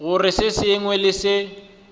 gore se sengwe le se